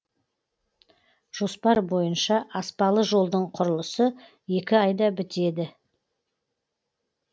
жоспар бойынша аспалы жолдың құрылысы екі айда бітеді